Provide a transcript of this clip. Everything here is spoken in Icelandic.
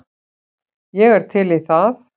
Ég er til í það.